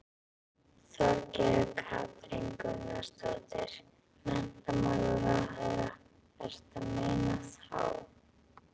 Þorgerður Katrín Gunnarsdóttir, menntamálaráðherra: Ertu að meina þá?